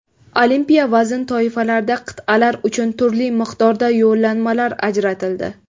Olimpiya vazn toifalarida qit’alar uchun turli miqdorda yo‘llanmalar ajratildi.